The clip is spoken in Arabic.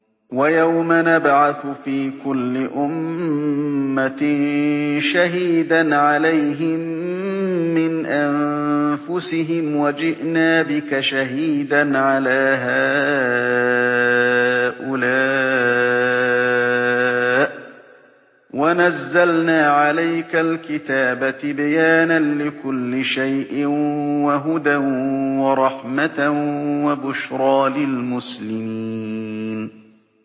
وَيَوْمَ نَبْعَثُ فِي كُلِّ أُمَّةٍ شَهِيدًا عَلَيْهِم مِّنْ أَنفُسِهِمْ ۖ وَجِئْنَا بِكَ شَهِيدًا عَلَىٰ هَٰؤُلَاءِ ۚ وَنَزَّلْنَا عَلَيْكَ الْكِتَابَ تِبْيَانًا لِّكُلِّ شَيْءٍ وَهُدًى وَرَحْمَةً وَبُشْرَىٰ لِلْمُسْلِمِينَ